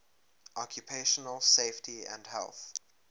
occupational safety and health